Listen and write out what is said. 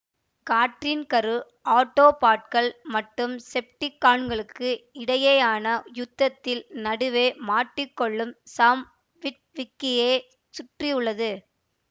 காற்றின் கரு ஆட்டோபாட்கள் மற்றும் செப்டிகான்களுக்கு இடையேயான யுத்தத்தில் நடுவே மாட்டிக் கொள்ளும் சாம் விட்விக்கியை சுற்றி உள்ளது